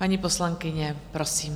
Paní poslankyně, prosím.